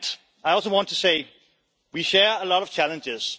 I also want to say we share a lot of challenges.